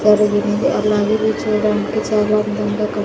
అలాగే ఇది చూడడానికి చాలా అందంగా కనిప్.